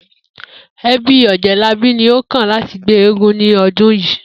E̩bí Ò̩jé̩labí ni ó kàn láti gbé eégún ní o̩dún yìí